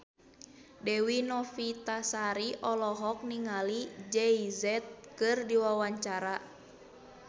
Dewi Novitasari olohok ningali Jay Z keur diwawancara